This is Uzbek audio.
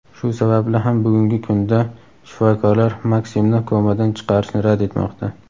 Shu sababli ham bugungi kunda shifokorlar MakSimni komadan chiqarishni rad etmoqda.